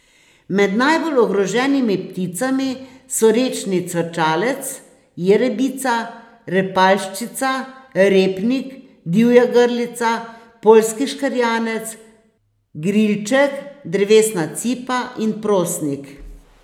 Med najbolj ogroženimi pticami so rečni cvrčalec, jerebica, repaljščica, repnik, divja grlica, poljski škrjanec, grilček, drevesna cipa in prosnik.